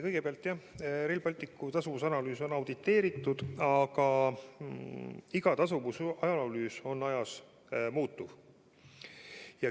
Kõigepealt, jah, Rail Balticu tasuvusanalüüs on auditeeritud, aga iga tasuvusanalüüs on ajas muutuv.